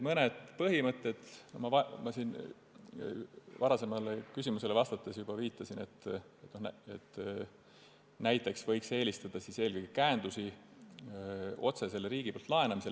Mõnele põhimõttele ma siin ühele varasemale küsimusele vastates juba viitasin, näiteks võiks eelistada käendusi otsesele riigilt laenamisele.